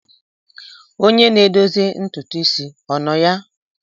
Onye na-edozi ntutu isi ọ nọ ya?